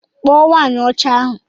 Kpọ nwanyi ọcha ahu!!